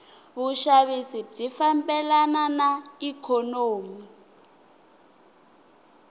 vushavisi bwifambelana naiknonomi